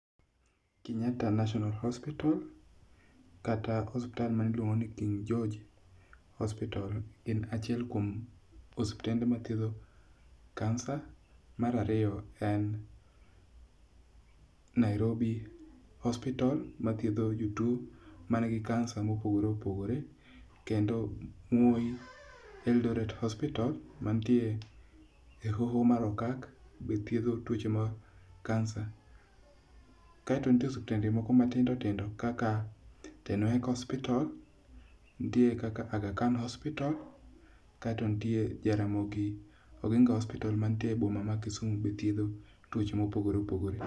Kenyatta National Hospital kata osiptal mani iluongo ni King George Hospital en achiel kuom osiptende mathiedho kansa. Mar ariyo en Nairobi Hospital mathiedho jotuo man gi kansa mopogore opogore. Kendo Moi Eldoret Hospital mantie e hoho mar okak be thiedho tuoche mag kansa. Kaeto nitie osiptende moko matindo tindo kaka Tenwek Hospital. Nitie kaka Agha Khan Hospital. Kaeto nitie Jaramogi Oginga Hospital manitie e boma ma Kisumo be thiedho tuoche mopogore opogore.